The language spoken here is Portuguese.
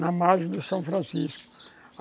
na margem do São Francisco.